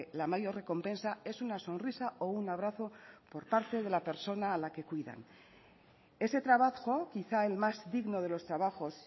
la mayor recompensa es una sonrisa o un abrazo por parte de la persona a la que cuidan ese trabajo quizá el más digno de los trabajos